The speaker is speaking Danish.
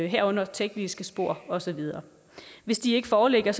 herunder tekniske spor og så videre hvis de ikke foreligger